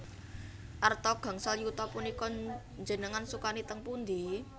Arta gangsal yuta punika njenengan sukani teng pundi?